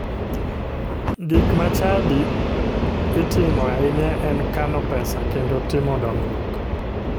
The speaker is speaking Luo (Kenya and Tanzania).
Gik ma chadi itimo ahinya en kano pesa kendo timo dongruok.